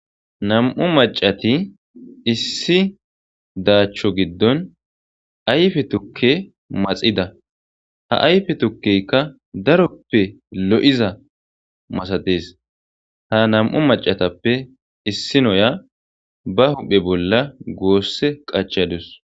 nam7u macati issi daachcho giddon ayfe tukke maxida ha ayfe tukkeykka daroppe lo7iza masadees ha nam7u macatappe issi noya ba huphe bolla goosse qachadus